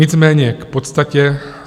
Nicméně k podstatě.